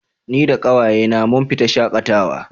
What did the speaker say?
Ni da ƙawaye na mun fita shaƙatawa